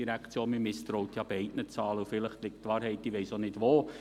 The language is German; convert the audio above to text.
Man misstraut ja beiden Zahlen und vielleicht liegt die Wahrheit, ich weiss auch nicht, wo.